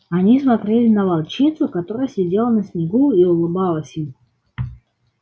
они смотрели на волчицу которая сидела на снегу и улыбалась им